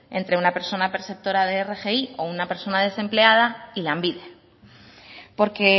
entre una persona perceptora de rgi o una persona desempleada y lanbide porque